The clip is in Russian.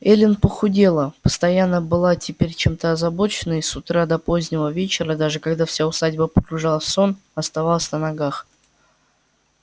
эллин похудела постоянно была теперь чем-то озабочена и с утра до позднего вечера даже когда вся усадьба погружалась в сон оставалась на ногах